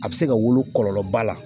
A bɛ se ka wolo kɔlɔlɔba la